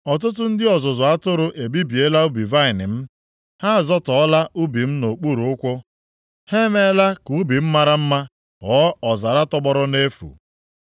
Ọtụtụ ndị ọzụzụ atụrụ ebibiela ubi vaịnị m. Ha azọtọọla ubi m nʼokpuru ụkwụ, ha emeela ka ubi m mara mma ghọọ ọzara tọgbọrọ nʼefu.